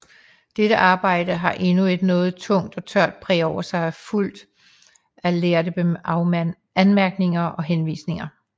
Dette arbejde har endnu et noget tungt og tørt præg over sig og er fuldt af lærde anmærkninger og henvisninger